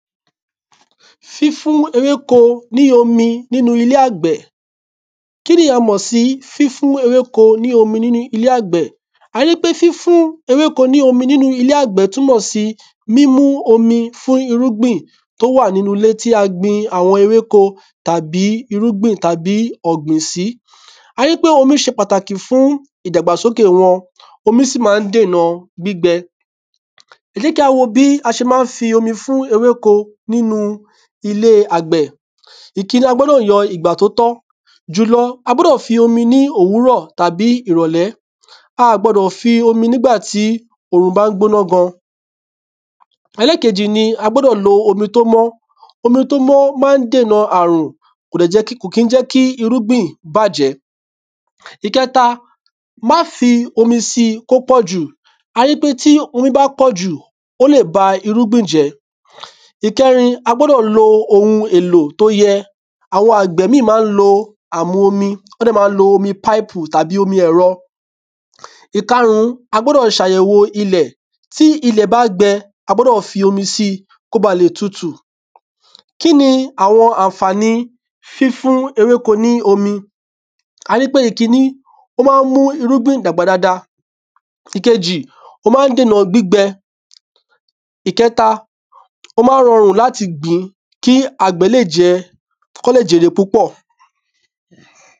Fífún ewéko ní omi n'ínu ilé àgbẹ̀ Kí ni a mọ̀ sí fífún ewéko ní omi n'ínu ilé àgbẹ̀? A rí pé fífún ewéko ní omi n'ínu ilé àgbẹ̀ túmọ̀ sí mímú omi fún irúgbìn t'ó wà n'ínú ilé tí a gbin àwọn ewéko tàbí irúgbìn tàbí ọ̀gbìn sí. Á yẹ́ pé omi ṣe pàtàkì fún ìdàgbàsókè wọn. Omi sì má ń dèna gbígbẹ. Ẹ jẹ́ kí á wó bí a ṣe má ń fi omi fún ewéko n'ínu ilé e àgbẹ̀ Ìkiní, a gbọ́dọ̀ yan ìgbà t’ó tọ́. Jùlọ, a gbọ́dọ̀ fi omi ní òwúrọ̀ tàbí ìrọ̀lẹ́. A à gbọ́dọ̀ fi omi n'ígbà tí òrùn bá ń gbóná gan. Ẹlẹ́kejì ni a gbọ́dọ̀ lo omi t’ó mọ́ Omi t’ó mọ́ má ń dènà àrùn Kò kí ń jẹ́ kí irúgbìn bàjẹ́. Ìkẹta, má fi omi si k'ó pọ̀ jù. Á yẹ́ pé tí omi bá pọ̀ jù ó lè ba irúgbìn jẹ́ Ìkẹrin, a gbọ́dọ̀ lo ohun èlò t’ó yẹ. Àwọn àgbẹ̀ míì má ń lo àmu omi. Ọ́ dẹ̀ má ń lo omi páìpù tàbí omi ẹ̀rọ. Ikárún, a gbọ́dọ̀ ṣ'àyẹ̀wo ilẹ̀. Tí ilẹ̀ bá gbẹ, a gbọ́dọ̀ fi omi si k’ó ba lè tutù. Kí ni àwọn ànfàni fífún ewéko ní omi A rí pé ìkiní ó má ń mú irúgbìn dàgbà dada. Ìkeji, ó má ń dènà gbígbẹ. Ìkẹta, ó má ń rọrùn l'áti gìn-ín kí àgbẹ̀ le jẹ k'ó lè jèrè púpọ̀